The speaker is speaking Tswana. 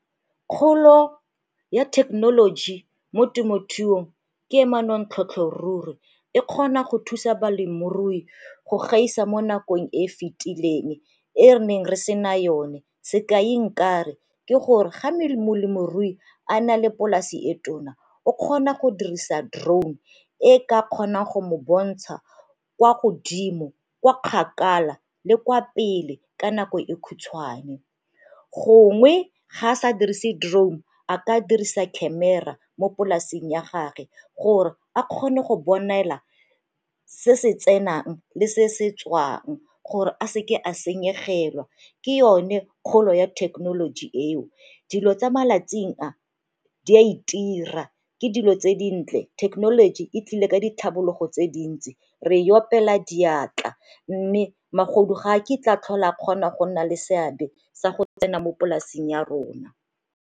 Kgolo ya thekenoloji mo temothuong ke manontlhotlho ruri, e kgona go thusa balemirui go gaisa mo nakong e e fitileng e re neng re sena yone. Sekai nka re, ke gore ga molemirui a na le polasi e tona o kgona go dirisa drone e ka kgonang go mo bontsha kwa godimo, kwa kgakala le kwa pele ka nako e khutshwane. Gongwe ga a sa dirise drone a ka dirisa camera mo polasing ya gage gore a kgone go bonela se se tsenang le se se tswang gore a seke a senyegelwa, ke yone kgolo ya thekenoloji eo. Dilo tsa malatsing a di a itira ke dilo tse dintle, thekenoloji e tlile ka ditlhabologo tse dintsi re ya opela diatla mme magodu ga a ke tla tlhola kgona go nna le seabe sa go tsena mo polasing ya rona.